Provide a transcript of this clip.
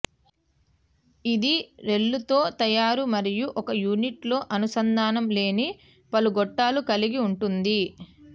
ఇది రెల్లుతో తయారు మరియు ఒక యూనిట్ లో అనుసంధానం లేని పలు గొట్టాలు కలిగి ఉంటుంది